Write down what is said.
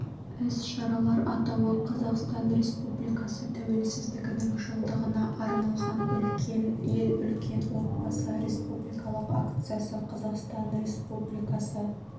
іс-шаралар атауы қазақстан республикасы тәуелсіздігінің жылдығына арналған үлкен ел үлкен отбасы республикалық акциясы қазақстан республикасы